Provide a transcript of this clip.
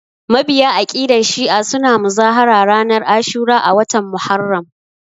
Mabiya aƙidan shi'a suna muzahara ranar ashura a watan Muharram